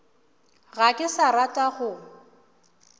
ga ke sa rata go